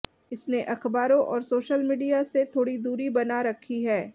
इसने अखबारों और सोशल मीडिया से थोड़ी दूरी बना रखी है